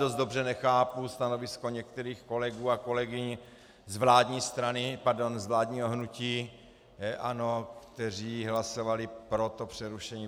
Dost dobře nechápu stanovisko některých kolegů a kolegyň z vládní strany, pardon, z vládního hnutí ANO, kteří hlasovali pro to přerušení.